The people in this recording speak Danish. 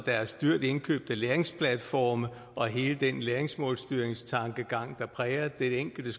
deres dyrt indkøbte læringsplatforme og hele den læringsmålstyringstankegang der præger det enkelte